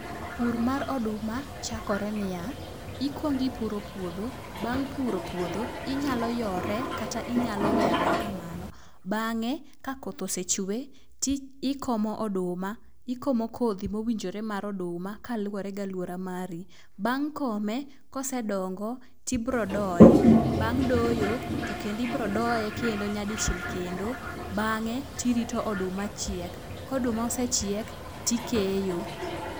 Pur mar oduma chakore niya, ikwong ipuro puodho. Bang' puro puodho, inyalo yore kata inyalo weye aweya kamano. Bang'e ka koth osechwe ikopo oduma ikomo kodhi mowinjore mar oduma koluwore gi aluora mari. Bang' kome kosedongo tibiro doye .Bang' doyo tibro doye kendo nyadichiel kendo bange' irito oduma. Koduma osechiek tikeyo.